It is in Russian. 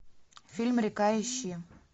фильм река ищи